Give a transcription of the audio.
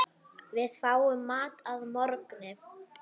Við fáum mat að morgni.